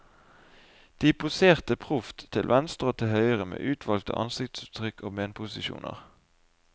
De poserte proft, til venstre og til høyre, med utvalgte ansiktsuttrykk og benposisjoner.